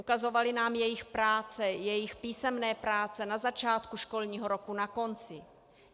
Ukazovali nám jejich práce, jejich písemné práce na začátku školního roku, na konci.